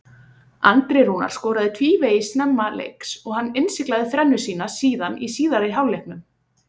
Andri Rúnar skoraði tvívegis snemma leiks og hann innsiglaði þrennu sína síðan í síðari hálfleiknum.